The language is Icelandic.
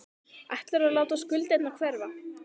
Ætlarðu að láta skuldirnar hverfa?